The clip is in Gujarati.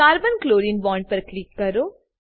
carbon ક્લોરીન બોન્ડ પર ક્લિક કરો